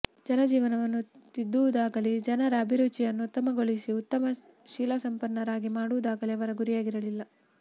ಜನಜೀವನವನ್ನು ತಿದ್ದುವುದಾಗಲೀ ಜನರ ಅಭಿರುಚಿಯನ್ನು ಉತ್ತಮಗೊಳಿಸಿ ಉತ್ತಮ ಶೀಲಸಂಪನ್ನರಾಗಿ ಮಾಡುವುದಾಗಲೀ ಅವರ ಗುರಿಯಾಗಿರಲಿಲ್ಲ